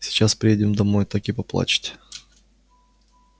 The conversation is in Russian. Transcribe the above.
сейчас приедем домой так и поплачете